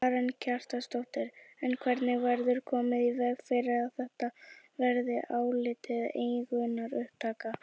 Karen Kjartansdóttir: En hvernig verður komið í veg fyrir að þetta verði álitið eignaupptaka?